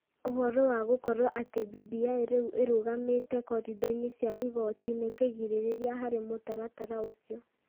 Ũhoro wa gũkorũo atĩ BBI rĩu nĩ ĩrũgamĩte koridori-inĩ cia igooti nĩ kĩgirĩrĩria harĩ mũtaratara ũcio.